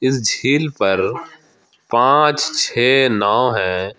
इस झील पर पांच छे नाव है।